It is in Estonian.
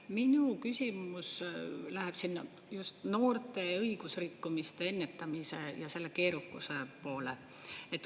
Minu küsimus läheb just sinna noorte õigusrikkumiste ennetamine ja selle keerukuse poole.